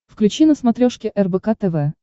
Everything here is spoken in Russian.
включи на смотрешке рбк тв